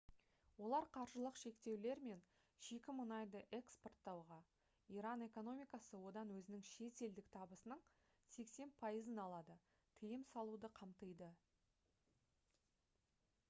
олар қаржылық шектеулер мен шикі мұнайды экспорттауға иран экономикасы одан өзінің шетелдік табысының 80% алады тыйым салуды қамтиды